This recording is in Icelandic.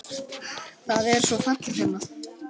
Það er svo fallegt hérna.